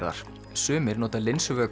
sumir nota